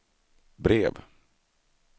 brev